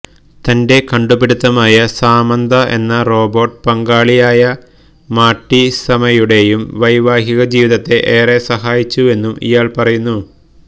തന്റെ കണ്ടുപിടുത്തമായ സാമന്ത എന്ന റോബോട്ട് പങ്കാളിയായ മാര്ട്ടിസയുടെയും വൈവാഹിക ജീവിതത്തെ ഏറെ സഹായിച്ചുവെന്നും ഇയാള് പറയുന്നു